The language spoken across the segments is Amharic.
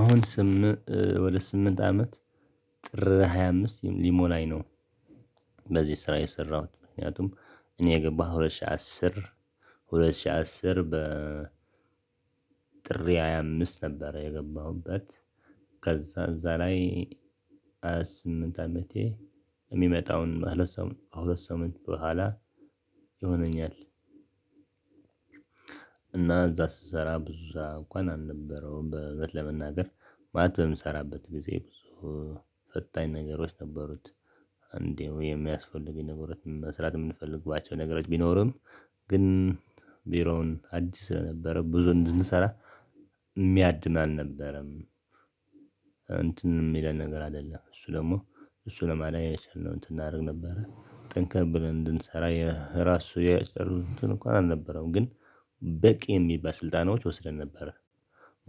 አሁን ስም ወደ ስምንት አመት ጥር ሃያ አምስት ሊሞናኝ ነው። በዚህ ስራ የሰራሁት። ምክንያቱም እኔ የገባሁት ሁለት ሺህ አስር፣ ሁለት ሺህ አስር ጥሪ አያምስ ነበር የገባሁበት። ከዛ እዛ ላይ ሃያ ስምንት አመቴ የሚመጣውን ከሁለት ሳምንት ከሁለት ሰሞን በኋላ ይሆነኛል። እና እዛ ስሰራ ብዙ ስሬእንኳን አልነበረውም። እውነት ለመናገር ማለት በምሰራበት ጊዜ ብዙ ፈታኝ ነገሮች ነበሩት። እንደው የሚያስፈልገኝ ነገሮች መስራት የምንፈልግባቸው ነገሮች ቢኖርም ግን ቢሮውን አዲስ ስለነበረ ብዙ እንዳንሰራ እሚያድን አልነበረም። እንትን የሚለን ነገር አይደለም። እሱ ደግሞ እሱ ለማለት የቻልነው እንትን እናደርግ ነበረ። ጠንከር ብለን እንድንሰራ የራሱ የጨረቱትን እንኳን አልነበረውም። ግን በቂ የሚባል ስልጠናዎች ወስደን ነበር።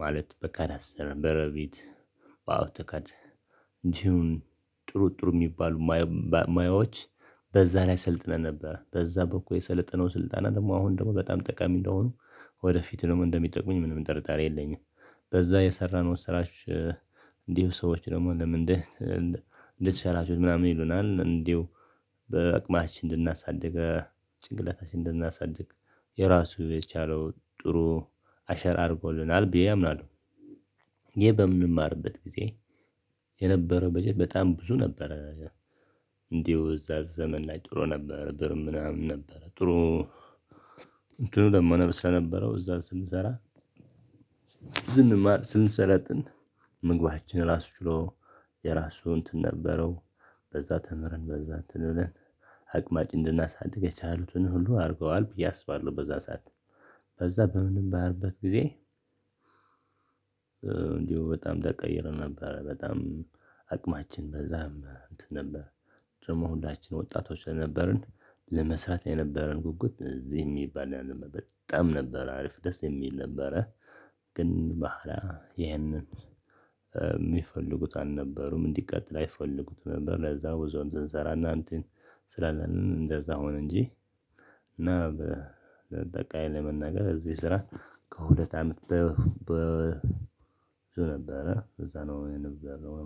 ማለት በቃ ዳሰረ በረቢት በአውቶካድ እንዲሁም ጥሩ ጥሩ የሚባሉ ማዮዎች በዛ ላይ ሰልጥነን ነበር። በዛ በኩል የሰለጠነው ስልጣና ደግሞ አሁን ደግሞ በጣም ጠቃሚ እንደሆኑ ወደፊት ደግሞ እንደሚጠቅመኝ ምንም ጠርጣሪ የለኝም። በዛ የሰራነው ስራዎች እንዲሁ ሰዎች ደግሞ ለምንድን ለምንድነው እንዴት ሻላችሁት ምናምን ይሉናል። እንዴው በአቅማችን እንድናሳድግ ጭንቅላታችን እንድናሳድግ የራሱ የቻለው ጥሩ አሸራ አድርጎልናል ብዬ አምናለሁ። ይሄ በምማርበት ጊዜ የነበረው በጀት በጣም ብዙ ነበረ። እንዲሁ እዛ ዘመን ላይ ጥሩ ነበር። ብር ምናምን ነበር። ጥሩ እንትኑ ለመነብስ ለነበረው እዛ ስንሰራ ዝም ስንሰለጥን ምግባችን ራሱ ችሎ የራሱ እንትን ነበረው። በዛ ተምረን በዛ እንትን እንደለን አቅማችን እንድናሳድግ የቻሉትን ሁሉ አድርገዋል ብዬ አስባለሁ። በዛ ሰዓት በዛ በምንም በምንማርበት ጊዜ እንዲሁ በጣም ተቀይረን ነበረ። በጣም አቅማችን በዛም እንትን ነበር። ደግሞ ሁላችንም ወጣቶች ነበርን። ለመስራት የነበረን ጉጉት እዚህ የሚባል አልነበረም። በጣም ነበር አሪፍ ደስ የሚል ነበረ። ግን በኋላ ይህንን የሚፈልጉት አልነበሩም። እንዲቀጥል አይፈልጉትም ነበር። ለዛ ብዙ ስንሰራ እና እንትን ስላለ እንደዛ ሆነ እንጂ እና በአጠቃላይ ለመናገር እዚህ ስራ ከሁለት አመት በዛ ነው የነበረው።